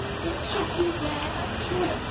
It should be their choice.